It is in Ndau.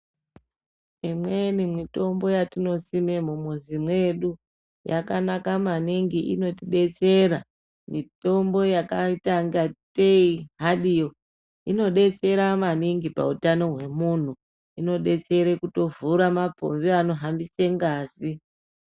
Imweni mitombo yatinosima mumuzi mwedu, yakanaka maningi, inotibetsera. Mitombo yakaita ingateyi hadiyo, inodetsera maningi pautano hwemunthu. Inodetsera kuvhura mapombi anohamba ngazi.